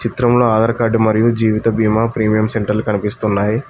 చిత్రంలో ఆధార్ కార్డు మరియు జీవిత బీమా ప్రీమియం సెంటర్లు కనిపిస్తున్నాయి.